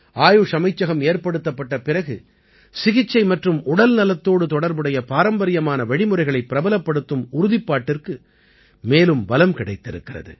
ஆயுஷ் அமைச்சகம் ஏற்படுத்தப்பட்ட பிறகு சிகிச்சை மற்றும் உடல்நலத்தோடு தொடர்புடைய பாரம்பரியமான வழிமுறைகளைப் பிரபலப்படுத்தும் உறுதிப்பாட்டிற்கு மேலும் பலம் கிடைத்திருக்கிறது